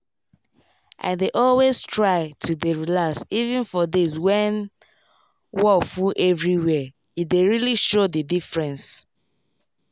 i dey always try to dey relax even for days when wor full everywhere e dey really show the diffrence